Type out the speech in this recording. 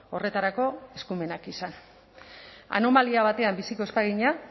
horretarako eskumenak izan anomalia batean biziko ez bagina